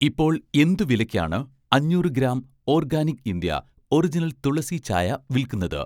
ഇപ്പോൾ എന്ത് വിലയ്ക്കാണ് അഞ്ഞൂറ് gram 'organic India' original tulsi ചായ വിൽക്കുന്നത്?